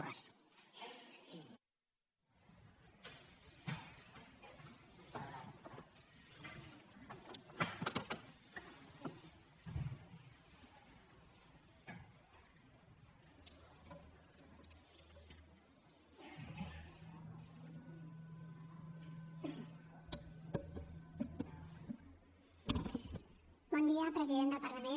bon dia president del parlament